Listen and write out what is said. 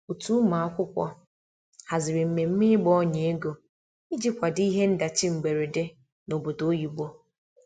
otu ụmụakwụkwọ haziri mmeme igba ọnya ego ịjị kwado ihe ndachi mgberede n'obodo oyibo